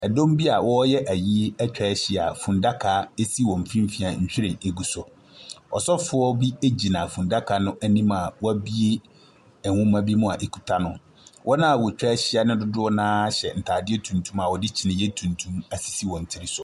Dɔm bi a wɔreyɛ ayie atwa ahyia a fundaka si wɔn mfimfini a nhwiren gu so. Ɔsɔfoɔ bi gyina fundaka no anim a wabue nwoma bi mu a ɛkuta no. Wɔn a wɔatwa ahyia no dodoɔ no ara hyɛ ntadeɛ tuntum a wɔde kyiniiɛ tuntum asisi wɔn tiri so.